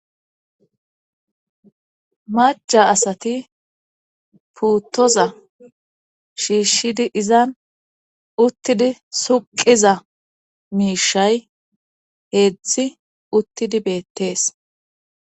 macha asati puuttoza shiishshidi izan uttidi suqiza miishay heezhzhi uttidi beettees